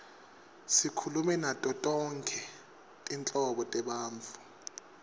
sikhulume nato tonkhe tinhlobo tebantfu